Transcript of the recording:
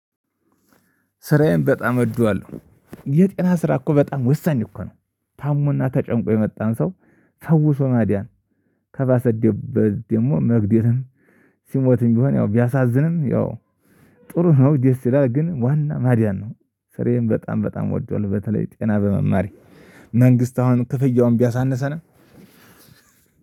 ስራዬን በጣም እወደዋለሁ። የጤና ስራ እኮ በጣም ወሳኝ እኮ ነው። ታሞና ተጨንቆ የመጣን ሰው ፈውሶ ማዳን፤ ከባሰደበት ደግሞ መግደልም ሲሞትም ቢሆን ያው ቢያሳዝንም ያው ጥሩ ነው፤ ደስ ይላል። ግን ዋና ማዳን ነው። ስራዬን በጣም በጣም እወደዋለሁ በተለይ ጤና በመማሬ። መንግስት አሁን ክፍያውን ቢያሳንሰንም